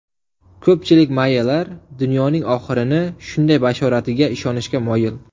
Ko‘pchilik mayyalar dunyoning oxirini shunday bashoratiga ishonishga moyil.